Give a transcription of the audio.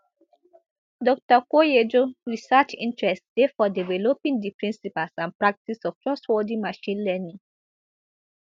dr koyejo research interests dey for developing di principles and practice of trustworthy machine learning